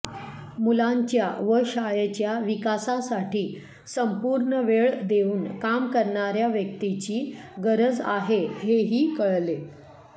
मुलांच्या व शाळेच्या विकासासाठी संपूर्ण वेळ देऊन काम करणाऱ्या व्यक्तीची गरज आहे हेही कळले